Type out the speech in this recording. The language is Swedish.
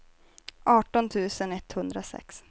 arton tusen etthundrasex